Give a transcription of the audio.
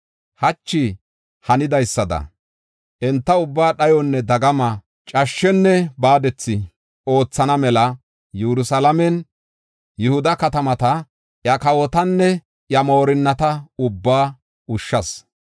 Hachi hanidaysada enta ubbaa dhayonne dagama, cashshenne baadethi oothana mela Yerusalaamenne Yihuda katamata, iya kawotanne iya moorinnata ubbaa ushshas.